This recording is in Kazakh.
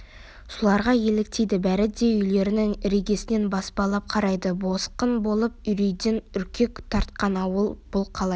соларға еліктейді бәрі де үйлерінің іргесінен баспалап қарайды босқын болып үрейден үркек тартқан ауыл бұл қалай